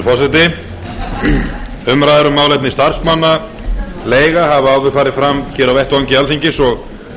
forseti umræður um málefni starfsmannaleiga hafa áður farið fram á vettvangi alþingis og